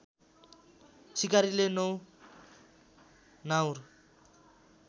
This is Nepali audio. सिकारीले ९ नाउर